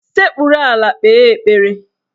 Sekpuru ala kpee ekpere!